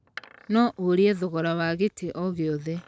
No ũrie thogora wa gĩtĩ o gĩothe.